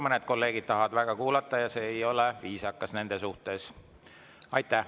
Mõned kolleegid tahavad väga kuulata ja see ei ole nende suhtes viisakas.